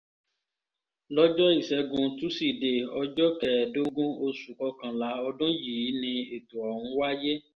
lọ́jọ́ ìṣẹ́gun tusidee ọjọ́ kẹẹ̀ẹ́dógún oṣù kọkànlá ọdún yìí ni ètò ọ̀hún wáyé